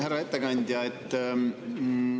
Härra ettekandja!